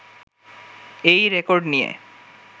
এই রেকর্ড নিয়ে